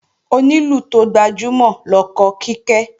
Onílù tó gbajúmọ̀ lọkọ Kíkẹ́